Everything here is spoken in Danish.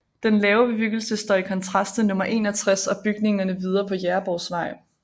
Den lave bebyggelse står i kontrast til nummer 61 og bygningerne videre på Jægersborgvej